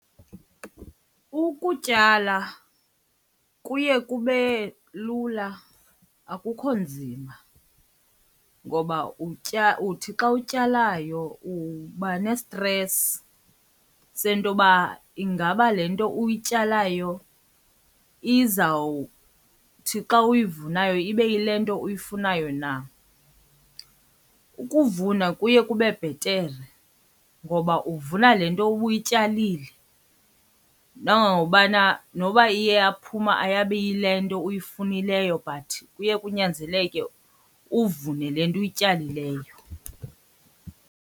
Ukutyala kuye kube lula, akukho nzima ngoba utya uthi xa utyalayo uba nestresi sento yoba ingaba le nto uyityalayo izawuthi xa uyivunayo ibe yile nto uyifunayo na. Ukuvuna kuye kube bhetere ngoba uvuna le nto ubuyityalile nangokubana noba iye yaphuma ayabi yile nto uyifunileyo but kuye kunyanzeleke uvune le nto uyityalileyo.